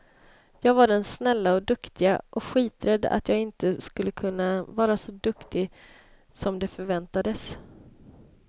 Jag var den snälla och duktiga, och skiträdd att jag inte skulle kunna vara så duktig som det förväntades.